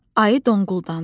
Ayı donquldandı.